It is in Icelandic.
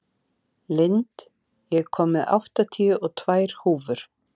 Lind, ég kom með áttatíu og tvær húfur!